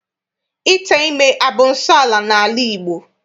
Ite ime abụ nsọala n'ala Igbo?